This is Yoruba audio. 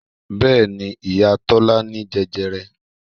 Bẹ́ẹ̀ni, ìyá Tọ́lá ní jẹjẹrẹ